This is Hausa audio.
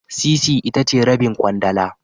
Sisi itace Rabin kwandala